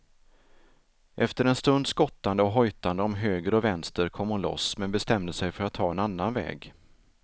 Efter en stunds skottande och hojtande om höger och vänster kom hon loss men bestämde sig för att ta en annan väg.